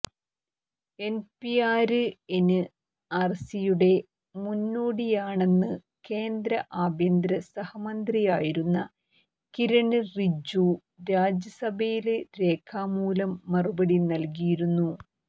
NPR എന്ആര്സിയുടെ മുന്നോടിയാണെന്ന് കേന്ദ്ര ആഭ്യന്തര സഹമന്ത്രിയായിരുന്ന കിരണ് റിജ്ജു രാജ്യസഭയില് രേഖാമൂലം മറുപടി നല്കിയിരുന്നു